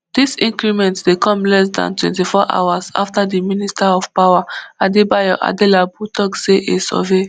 dis increment dey come less dan twenty-four hours afta di minister of power adedayo adelabu tok say a survey